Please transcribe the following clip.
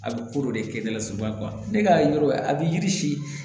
A bɛ ko dɔ de kɛ ne la soba ne ka yɔrɔ a bɛ yiri si